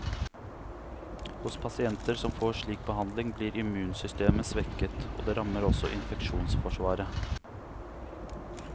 Hos pasienter som får slik behandling, blir immunsystemet svekket, og dette rammer også infeksjonsforsvaret.